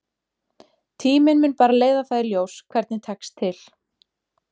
Tíminn mun bara leiða það í ljós hvernig tekst til.